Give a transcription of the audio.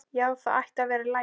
Já, það ætti að vera í lagi.